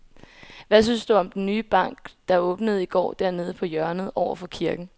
Hvad synes du om den nye bank, der åbnede i går dernede på hjørnet over for kirken?